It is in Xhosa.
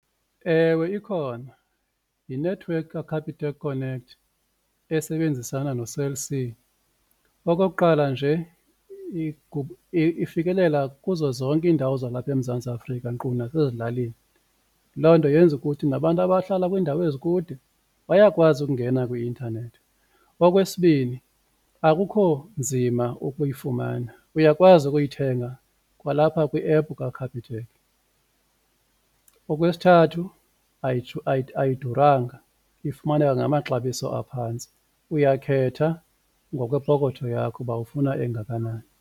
Ewe, ikhona yinethiwekhi kaCapitec Connect esebenzisana noCell C. Okokuqala, nje ifikelela kuzo zonke iindawo zalapha eMzantsi Afrika nkqu nasezilalini loo nto yenza ukuthi nabantu abahlala kwiindawo ezikude bayakwazi ukungena kwi intanethi. Okwesibini, akukho nzima ukuyifumana uyakwazi ukuyithenga kwalapha kwi-app kaCapitec. Okwesithathu, ayidurwanga ifumaneka ngamaxabiso aphantsi, uyakhetha ngokwepokotho yakho uba ufuna engakanani.